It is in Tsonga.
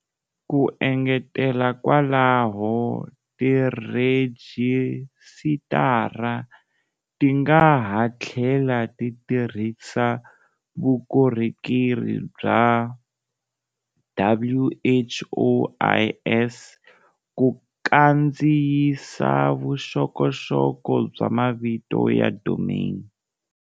Ku engetela kwalaho, tirhejisitara ti nga ha tlhela ti tirhisa vukorhokeri bya WHOIS ku kandziyisa vuxokoxoko bya mavito ya domain.